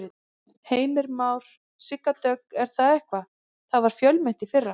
Heimir Már: Sigga Dögg er það ekki, það var fjölmennt í fyrra?